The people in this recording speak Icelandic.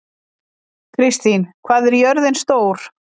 Kristín, hvað er jörðin stór?